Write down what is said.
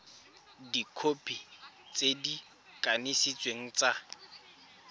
dikhopi tse di kanisitsweng tsa